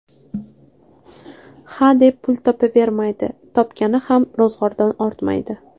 Hadeb pul topavermaydi, topgani ham ro‘zg‘ordan ortmaydi.